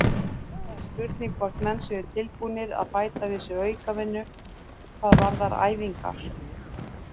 Það er spurning hvort menn séu tilbúnir að bæta við sig aukavinnu hvað varðar æfingar.